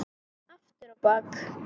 Aftur á bak.